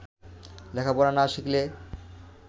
লেখাপড়া না শিখলে